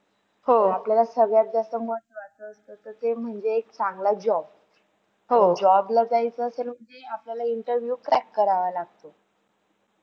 आपल्याला सगळ्यात जास्ता महत्वाचं असत ते म्हणजे एक चांगला job job ला जायचे असेल की आपल्याला interview crack करावा लागतो.